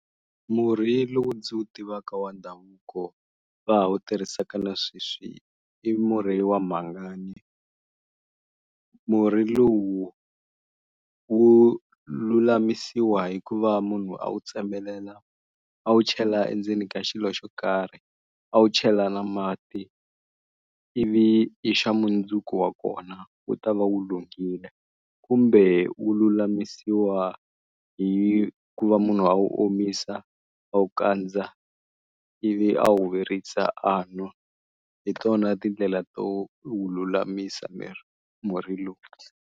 Murhi lowu ndzi wu tivaka wa ndhavuko va ha wu tirhisaka na sweswi, i murhi wa mhangani. Murhi lowu wu lulamisiwa hikuva munhu a wu tsemelela a wu chela endzeni ka xilo xo karhi, a wu chela na mati ivi hi xa mundzuku wa kona wu ta va wu lunghile. Kumbe wu lulamisiwa hikuva munhu a wu omisa a wu kandza ivi a wu virisa a n'wa hi tona tindlela to wu lulamisa murhi lowu.